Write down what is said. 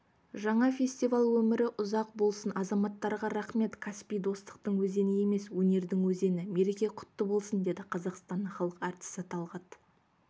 жаңа фестиваль өмірі ұзақ болсын азаматтарға рахмет каспий достықтың өзені емес өнердің өзені мереке құтты болсын деді қазақстанның халық әртісі талғат